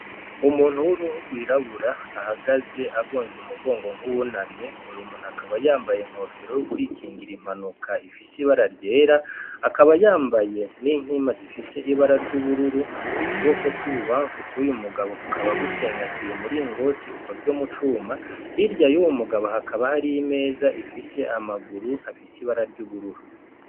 Umuntu w'uruhu rw'irabura ahagaze agonze umugongo nk'uwunamye, uy'umuntu akaba yambaye inkofero yo kwikingira impanuka ifise ibara ryera, akaba yambaye inkima ifise ibara ry'ubururu ukuboko kw'ibubamfu kuyu mugabo kukaba gucengatiye umuringoti ukozwe mu cuma hirya y'uwu mugabo hakaba hari imeza ifise amaguru afise ibara ry'ubururu.